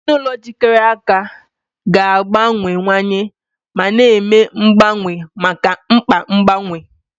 Ezinụlọ jikọrọ aka ga-agbanwewanye ma na-eme mgbanwe maka mkpa mgbanwe.